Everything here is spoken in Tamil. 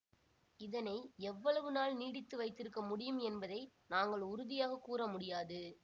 இதனை எவ்வளவு நாள் நீடித்து வைத்திருக்க முடியும் என்பதை நாங்கள் உறுதியாக கூற முடியாது